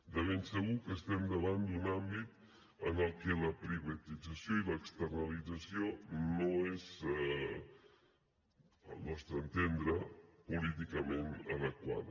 de ben segur que estem davant d’un àmbit en què la privatització i l’externalització no és al nostre entendre políticament adequada